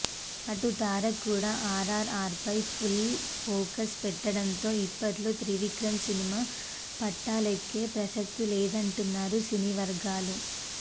అటు తారక్ కూడా ఆర్ఆర్ఆర్పై ఫుల్ ఫోకస్ పెట్టడంతో ఇప్పట్లో త్రివిక్రమ్ సినిమా పట్టాలెక్కే ప్రసక్తి లేదంటున్నారు సినీ వర్గాలు